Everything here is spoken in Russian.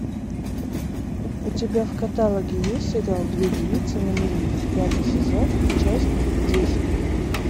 у тебя в каталоге есть сериал две девицы на мели пятый сезон часть десять